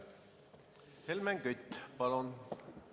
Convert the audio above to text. Helmen Kütt, palun!